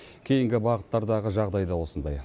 кейінгі бағыттардағы жағдай да осындай